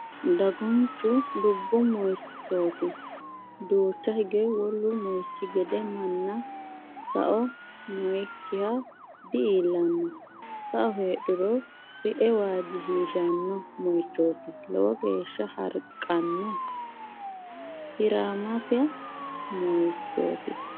Dagunchu dubbu moichoti duucha hige wolu moichi gede manna sao noyikkiha di"iillano sao heedhuro sie waajishshishano moichoti lowo geeshsha harqano hiramessa moichoti.